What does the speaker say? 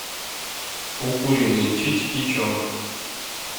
укуренные чич и чонг